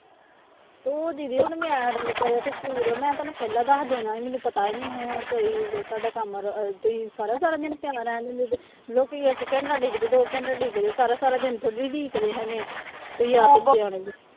ਤੂੰ ਦੀਦੀ ਹੁਣ ਮੈਂ ਮੈਂ ਤੈਨੂੰ ਪਹਿਲਾਂ ਦੱਸ ਦੇਣਾ ਸੀ ਮੈਨੂੰ ਪਤਾ ਹੀ ਨੀ ਹੁਣ ਤੇੇ ਸਾਡਾ ਕੰਮ ਰ ਤੁਸੀਂ ਸਾਰਾ ਸਾਰਾ ਦਿਨ ਪਿਆ ਰਹਿਣ ਦਿੰਦੇ, ਲੋਕੀ ਇੱਕ ਘੰਟਾ ਉਡੀਕਦੇ ਦੋ ਘੰਟੇ ਉਡੀਕਦੇ ਸਾਰਾ ਸਾਰਾ ਦਿਨ ਥੋੜ੍ਹੀ ਉਡੀਕਦੇ ਹੈਗੇ, ਤੁਸੀਂ ਆਪ ਸਿਆਣੇ ਜੇ